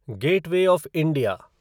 gateway of India